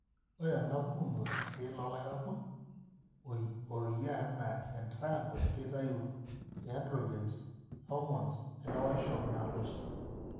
Ore tenapukuno, irki loolairakuj ooyia anaa entriangle keitayu iandrogens(irhormones lelewaisho) naalus.